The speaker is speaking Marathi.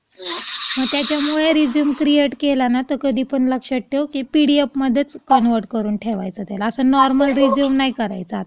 मग त्याच्यामुळे रेझ्यूम क्रिएट केला ना, की कधी पण लक्षात ठेव की पिडीएफमध्येच कन्वर्ट करून ठेवायचा त्याला. .असा नॉर्मल रेझ्यूम नाही करायचा आता.